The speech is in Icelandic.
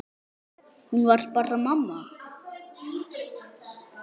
Hún var bara mamma.